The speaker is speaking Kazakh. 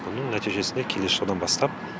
бұның нәтижесінде келесі жылдан бастап